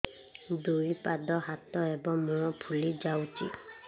ଦୁଇ ପାଦ ହାତ ଏବଂ ମୁହଁ ଫୁଲି ଯାଉଛି